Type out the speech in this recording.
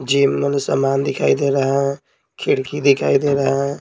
Gym मै सामान दिखाई दे रहा है खिड़की दिखाई दे रहा है।